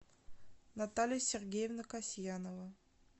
наталья сергеевна касьянова